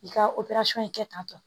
I ka in kɛ tantɔ